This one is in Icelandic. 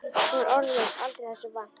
Hún var orðlaus aldrei þessu vant.